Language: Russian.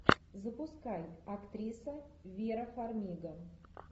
запускай актриса вера фармига